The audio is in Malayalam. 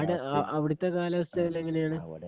അവിടത്തെ കാലാവസ്ഥ ഒക്കെ എങ്ങനെയാണ്?